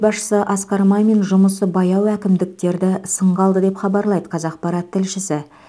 басшысы асқар мамин жұмысы баяу әкімдіктерді сынға алды деп хабарлайды қазақпарат тілшісі